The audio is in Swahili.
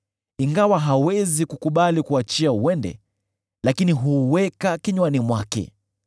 ingawa hawezi kukubali kuuachia uende, lakini huuweka kinywani mwake.